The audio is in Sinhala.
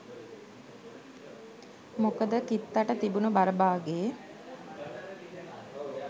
මොකද කිත්තට තිබුණු බර බාගේ